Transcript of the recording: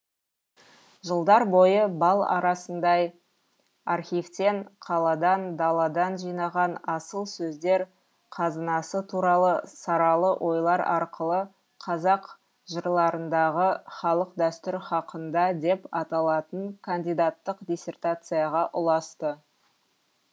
жылдар бойы бал арасындай архивтен қаладан даладан жинаған асыл сөздер қазынасы туралы саралы ойлар арқылы қазақ жырларындағы халық дәстүр хақында деп аталатын кандидаттық диссертацияға ұласты